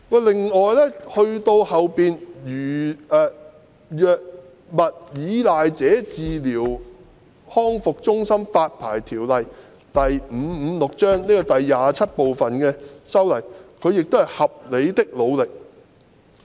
第27分部涉及《藥物倚賴者治療康復中心條例》，修訂中文文本是"作出合理的監管及合理的努力"。